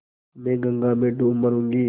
मैं गंगा में डूब मरुँगी